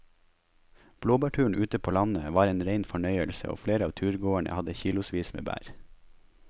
Blåbærturen ute på landet var en rein fornøyelse og flere av turgåerene hadde kilosvis med bær.